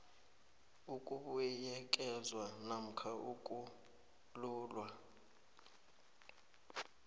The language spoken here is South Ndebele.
ukubuyekezwa namkha ukululwa